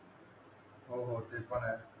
हो हो ते पण आहे